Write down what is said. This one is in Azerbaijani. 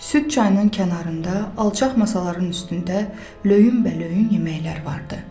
Süd çayının kənarında alçaq masaların üstündə löyünbəlöyun yeməklər vardı.